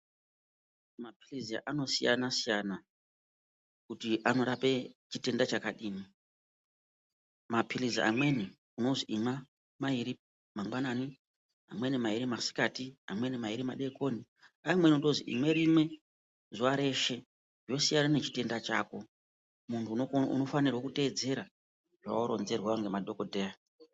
Maphilizi anosiyana-siyana, kuti anorape chitenda chakadini. Maphilizi amweni, unozi imwa mairi mangwanani, amweni mairi masikati, amweni mairi madekoni. Amweni unotozi imwe rimwe zuva reshe, zvosiyana nechitenda chako. Muntu unofanirwe kuteedzera zvawaronzerwa ngemadhokodheya.